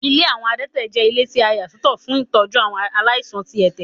Ilé àwọn adẹ́tẹ̀ jẹ́ ilé tí a yà sọ́tọ̀ fún tọ́jú àwọn aláìsàn tí ẹ̀tẹ̀.